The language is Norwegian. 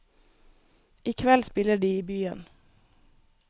I kveld spiller de i byen.